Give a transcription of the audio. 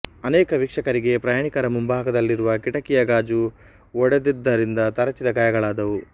ಅನೇಕ ವೀಕ್ಷಕರಿಗೆ ಪ್ರಯಾಣಿಕರ ಮುಂಭಾಗದಲ್ಲಿರುವ ಕಿಟಕಿಯ ಗಾಜು ಒಡೆದಿದ್ದರಿಂದತರಚಿದ ಗಾಯಗಳಾದವು